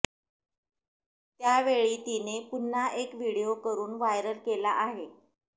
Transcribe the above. त्यावेळी तिने पुन्हा एक विडीओ करून वायरल केला आहे